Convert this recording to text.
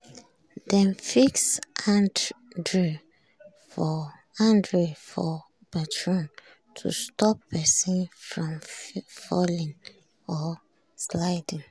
dem fix handrail for bathroom to stop person from falling or sliding.